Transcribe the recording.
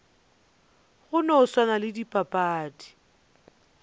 go no swana le dipapadi